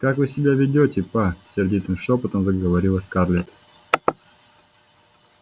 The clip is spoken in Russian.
как вы себя ведёте па сердитым шёпотом заговорила скарлетт